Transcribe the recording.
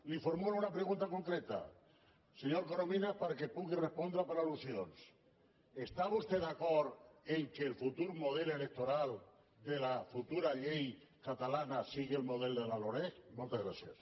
li formulo una pregunta concreta senyor coromi nas perquè hi pugui respondre per al·lusions està vos tè d’acord que el futur model electoral de la futura llei catalana sigui el model de la loreg moltes gràcies